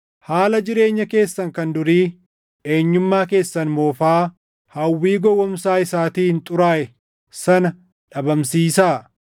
Haala jireenya keessan kan durii, eenyummaa keessan moofaa hawwii gowwoomsaa isaatiin xuraaʼe sana dhabamsiisaa;